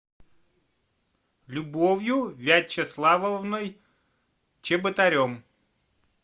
любовью вячеславовной чеботарем